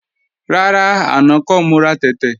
Rárá, àná kọ́ mo ra tẹ̀tẹ̀